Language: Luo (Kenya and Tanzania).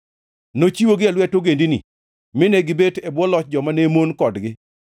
Nochiwogi e lwet ogendini, mine gibet e bwo loch joma ne mon kodgi.